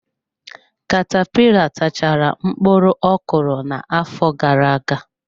Katapila tachaara mkpụrụ ọ kụrụ n'afọ gara-aga.